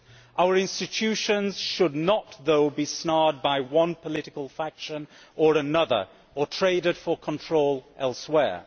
Our institutions should not, however, be snared by one political faction or another or traded for control elsewhere.